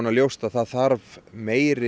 ljóst að það þarf meiri